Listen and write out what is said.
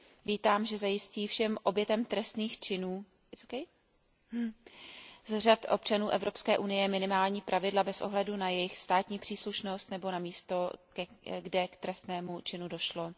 Vítám, že zajistí všem obětem trestných činů z řad občanů Evropské unie minimální pravidla bez ohledu na jejich státní příslušnost nebo na místo, kde k trestnému činu došlo.